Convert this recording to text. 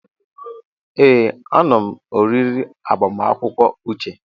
Ee, anom oriri agbamakwụkwọ Uche.